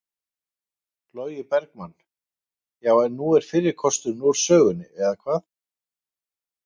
Logi Bergmann: Já, en nú er fyrri kosturinn úr sögunni eða hvað?